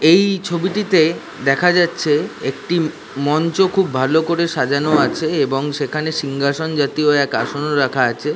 এই ই ছবিটিতে দেখা যাচ্ছে একটি মঞ্চ খুব ভালো করে সাজানো আছে এবং সেখানে সিংহাসন জাতীয় এক আসন রাখা আছে।